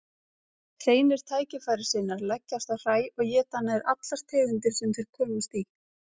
Hreinir tækifærissinnar leggjast á hræ og éta nær allar tegundir sem þeir komast í.